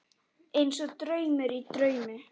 Einsog draumur í draumi.